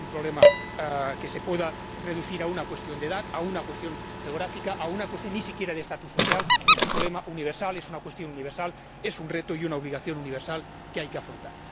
No es un problema que se pueda reducir a una cuestión de edad, a una cuestión geográfica, ni siquiera de estatus social. Es un problema universal, es una cuestión universal, es un reto y una obligación universal que hay que afrontar.